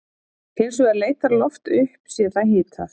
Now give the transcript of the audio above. Hins vegar leitar loft upp sé það hitað.